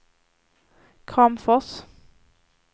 Kramfors